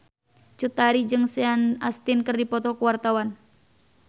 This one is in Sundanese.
Cut Tari jeung Sean Astin keur dipoto ku wartawan